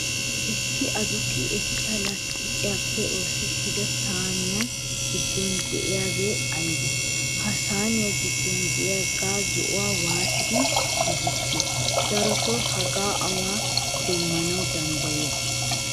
Issi aduqi ekkiya lasttiqiyappe oosettida sayniya giddon de'iyabay aybee? Ha sayniyaa giddon de'iya zo"uwaa waattidi giigissiyo? Darotoo hagaa awan demanawu danddayiyo?